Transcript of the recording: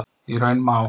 Í raun má